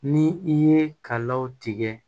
Ni i ye kalaw tigɛ